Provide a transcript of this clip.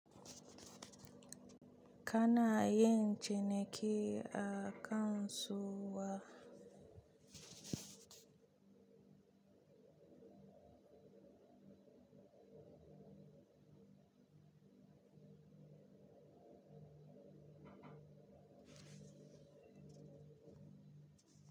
Kana yin ciniki a kansuwa.